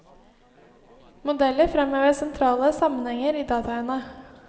Modeller fremhever sentrale sammenhenger i dataene.